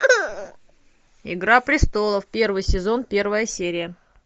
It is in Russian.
игра престолов первый сезон первая серия